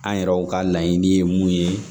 An yɛrɛw ka laɲini ye mun ye